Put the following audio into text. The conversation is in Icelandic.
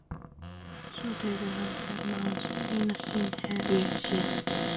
Svo tekur hann til máls:- Eina sýn hef ég séð.